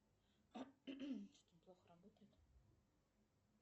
сбер расскажи мне кто тебя создал